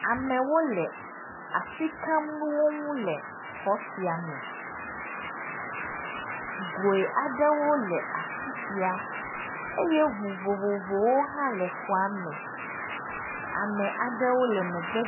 Amewo le asi kam nuwo ŋu le xɔ sia me, goe aɖewo le afi sia eye ŋu vovovowo hã le xɔa me, ame aɖewo le megbe…